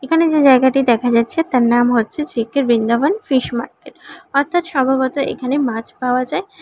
এখানে যে জায়গাটি দেখা যাচ্ছে তার নাম হচ্ছে জে_কে বৃন্দাবন ফিশ মার্কেট অর্থাৎ সম্ভবত এখানে মাছ পাওয়া যায়।